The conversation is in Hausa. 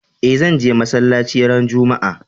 E, zan je masalaci ran Juma'a.